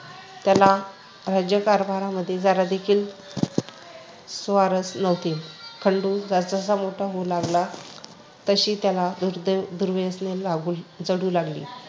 त्याला राज्य कारभारामध्ये जरादेखील स्वारच नव्हती. खंडू जसजसा मोठा होऊ लागला तशी त्याला दुर्दे दुर्गती लागू जडू लागली.